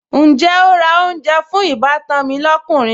Ǹjẹ́ o ra oúnjẹ fún ìbátan mi lọ́kùnrin?